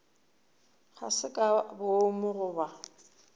ga se ka boomo goba